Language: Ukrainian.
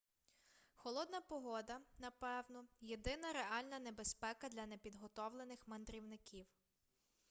холодна погода напевно єдина реальна небезпека для непідготовлених мандрівників